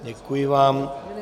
Děkuji vám.